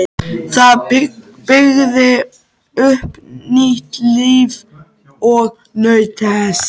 Það byggði upp nýtt líf og naut þess.